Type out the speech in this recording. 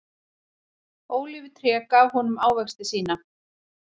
Ólífutréð gaf honum ávexti sína.